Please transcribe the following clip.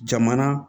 Jamana